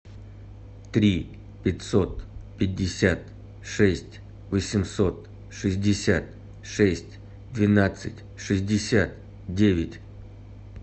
три пятьсот пятьдесят шесть восемьсот шестьдесят шесть двенадцать шестьдесят девять